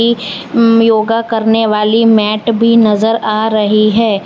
योगा करने वाली मैट भी नजर आ रही है।